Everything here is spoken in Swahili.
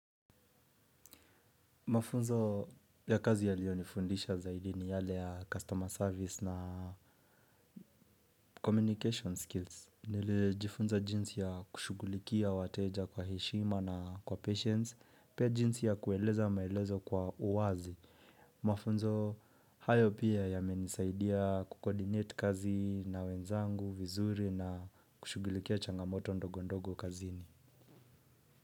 Mafunzo ya kazi yaliyo nifundisha zaidi ni yale ya customer service na communication skills. Nilijifunza jinsi ya kushughulikia wateja kwa heshima na kwa patience. Pia jinsi ya kueleza maelezo kwa uwazi. Mafunzo hayo pia yamenisaidia kukoordinate kazi na wenzangu, vizuri na kushughulikia changamoto ndogo ndogo kazini.